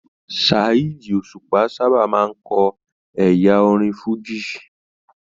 Saheed Osupa sábà máa n kọ ẹyà orin fújì.